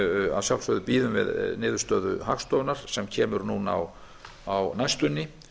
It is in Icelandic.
að sjálfsögðu bíðum við niðurstöðu hagstofunnar sem kemur núna á næstunni